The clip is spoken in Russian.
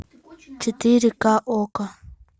четыре ка окко